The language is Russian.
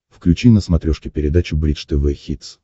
включи на смотрешке передачу бридж тв хитс